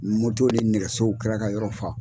ni nɛgɛsow kɛra ka yɔrɔ fa.